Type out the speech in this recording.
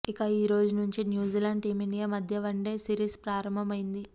ఇక ఈ రోజు నుంచి న్యూజిలాండ్ టీమిండియా మధ్య వన్డే సిరీస్ ప్రారంభ మైంది